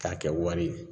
K'a kɛ wari ye